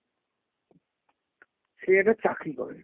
সে একটা চাকরি করে।